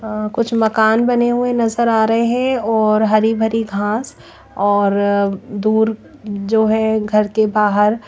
अह कुछ मकान बने हुए नजर आ रहे हैं और हरी भरी घास और दूर जो है घर के बाहर--